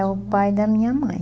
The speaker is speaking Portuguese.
É o pai da minha mãe.